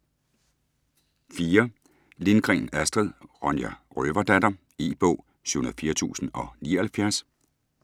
Lindgren, Astrid: Ronja røverdatter E-bog 704079